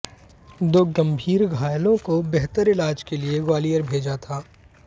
दो गंभीर घायलों को बेहतर इलाज के लिए ग्वालियर भेजा था